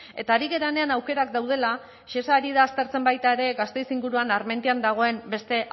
eta ari garenean aukerak daudela shesa ari da aztertzen baita ere gasteiz inguruan armentian dagoen beste